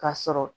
Ka sɔrɔ